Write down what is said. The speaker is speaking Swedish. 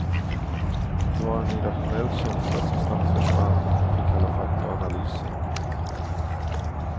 Det var en irrationell rädsla som snabbt försvann inför kalla fakta och analyser.